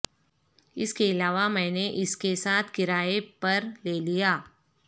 اس کے علاوہ میں نے اس کے ساتھ کرایہ پر لے لیا